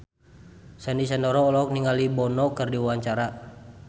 Sandy Sandoro olohok ningali Bono keur diwawancara